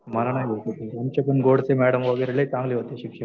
मला नाही भेटत. आमच्या पण गोडसे मॅडम वगैरे लै चांगले होते शिक्षक.